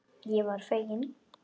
Ég varð fegin.